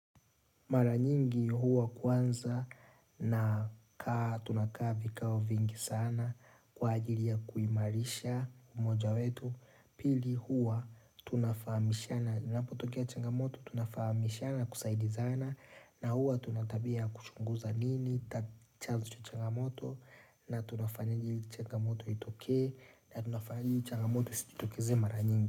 Maranyingi huwa kwanza na kaa tunakaa vikao vingi sana kwa ajili ya kuimarisha umoja wetu pili huwa tunafahamishana inapotokea changamoto tunafahamishana kusaidizana na huwa tuna tabia kuchunguza nini chazo cha changamoto na tunafanyaji changamoto itokee na tunafanyaa nini changamoto isitokezee maranyingi.